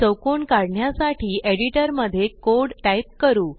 चौकोन काढण्यासाठी एडिटर मध्ये कोड टाइप करू